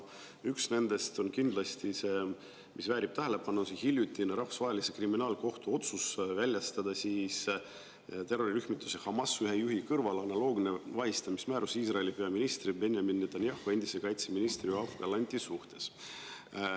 Üks nendest on kindlasti see, mis väärib tähelepanu – hiljutine Rahvusvahelise Kriminaalkohtu otsus väljastada terrorirühmituse Hamas ühe juhi kõrval analoogne vahistamismäärus Iisraeli peaministri Benjamin Netanyahu ja endise kaitseministri Yoav Gallanti suhtes.